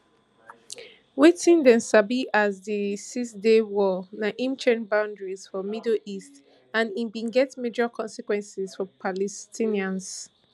wetin dem sabi as di sixday war na im change boundaries for middle east and e bin get major consequences for palestinians